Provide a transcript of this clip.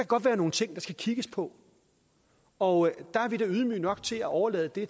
godt være nogle ting der skal kigges på og der er vi da ydmyge nok til at overlade det